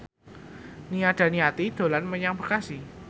Nia Daniati dolan menyang Bekasi